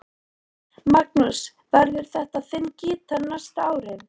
Magnús: Verður þetta þinn gítar næstu árin?